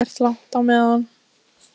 Kamilla fer ekkert langt á meðan